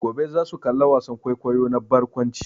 Gobe za su kalla wasan kwaikwayo na barkwanci.